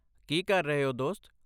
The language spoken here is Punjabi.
ਕੀ ਕਰ ਰਹੇ ਹੋ, ਦੋਸਤ?